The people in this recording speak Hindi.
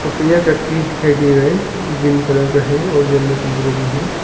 पपया का ट्री दिखाई दे रहा है ग्रीन कलर का है और यलो कलर का भी है।